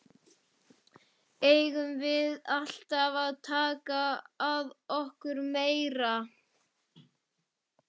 Eigum við alltaf að taka að okkur meira?